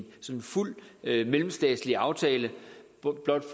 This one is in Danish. fuld mellemstatslig aftale for blot